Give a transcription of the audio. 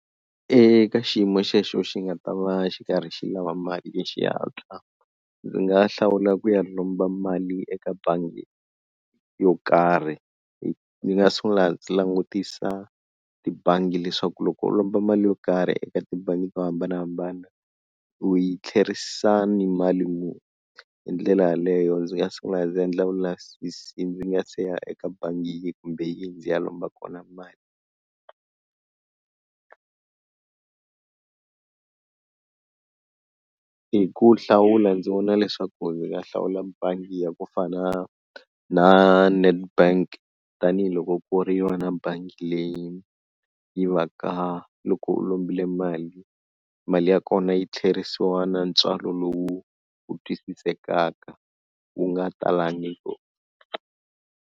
Eka xiyimo xexo xi nga ta va xi karhi xi lava mali ya xihatla ndzi nga hlawula ku ya lomba mali eka bangi yo karhi, ni nga sungula ndzi langutisa tibangi leswaku loko u lomba mali yo karhi eka tibangi to hambanahambana u yi tlherisa ni mali muni, hi ndlela yaleyo ndzi nga sungula ndzi endla vulavisisi ndzi nga si ya eka bangi yihi kumbe yihi ndzi ya lomba kona mali hi ku hlawula ndzi vona leswaku ndzi nga hlawula bangi ya ku fana na Nedbank tanihiloko ku ri yona bangi leyi yi va ka loko u lombile mali, mali ya kona yi tlherisiwa na ntswalo lowu wu twisisekaka wu nga talangi ku.